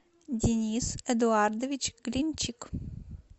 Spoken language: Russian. денис эдуардович глинчик